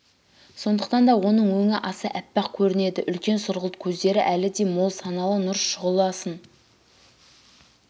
сондықтан да оның өңі аса аппақ көрінеді үлкен сұрғылт көздері әлі де мол саналы нұр шұғы-ласын